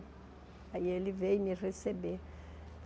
Aí ele veio me receber.